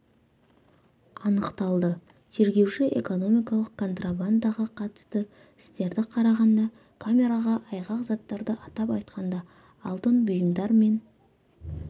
анықталды тергеуші экономикалық контрабандаға қатысты істерді қарағанда камераға айғақ заттарды атап айтқанда алтын бұйымдар мен